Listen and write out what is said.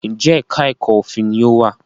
Njé èka èko òfin ní o wá?